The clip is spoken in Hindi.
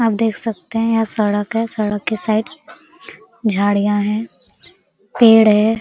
आप देख सकते है यहाँ सड़क है सड़क के साइड झाड़ियाँ है पेड़ है।